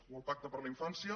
o el pacte per a la infància